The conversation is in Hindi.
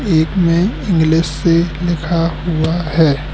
एक ने इंग्लिश से लिखा हुआ है।